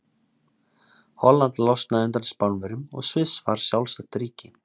Holland losnaði undan Spánverjum og Sviss varð sjálfstætt ríki.